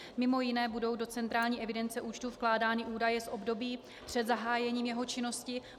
Mimo jiné budou do centrální evidence účtu vkládány údaje z období před zahájením jeho činnosti.